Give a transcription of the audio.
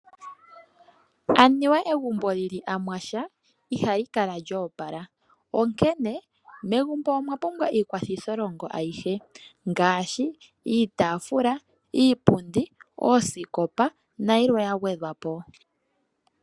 Anuwa egumbo lyili amwasha ihali kala lyo opala onkene megumbo omwa pumbwa iikwathitholongo ayihe ngaashi iitaafula, iipundi, oosikopa nayilwe ya gwedhwa po.